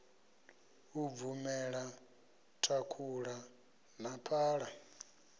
u bvumela thakhula na phala